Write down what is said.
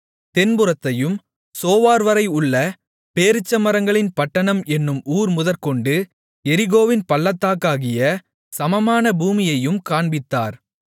தென்புறத்தையும் சோவார்வரை உள்ள பேரீச்சமரங்களின் பட்டணம் என்னும் ஊர் முதற்கொண்டு எரிகோவின் பள்ளத்தாக்காகிய சமமான பூமியையும் காண்பித்தார்